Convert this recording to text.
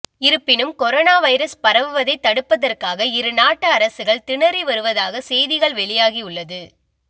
இருப்பினும் corona virus பரவுவதை தடுப்பதற்காக இரு நாட்டு அரசுகள் திணறி வருவதாக செய்திகள் வெளியாகி உள்ளது